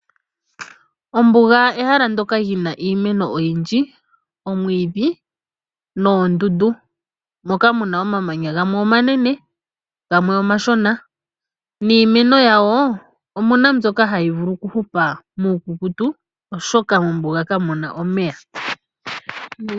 Ombuga ehala ndyoka li na iimeno oyindji omwiidhi noondundu moka mu na omamanya gamwe omanene gamwe omashona niimeno yawo omu na mbyoka hayi vulu okuhupa muukukutu oshoka mombuga ka mu na omeya.